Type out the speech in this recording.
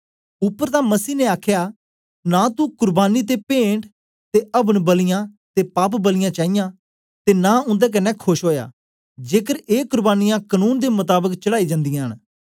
उपर तां मसीही ने आखदा नां तुं कुर्बानी ते पेंट ते अवन बलियां ते पाप बलियां चाईयां ते नां उन्दे कन्ने खोश ओया जेकर ए कुर्बानियां कनून दे मताबक चढ़ाई जांदींयां न